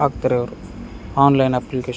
ಹಾಕ್ತಾರೆ ಅವ್ರು online application --